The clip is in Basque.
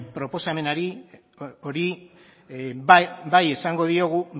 proposamen horri bai esango diogu